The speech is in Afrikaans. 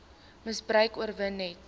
misbruik oorwin net